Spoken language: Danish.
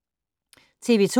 TV 2